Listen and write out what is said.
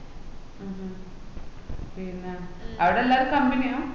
മൂം പിന്ന അവട എല്ലാര company യാ